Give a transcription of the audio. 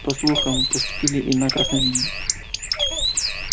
по слухам поступили и на красной линии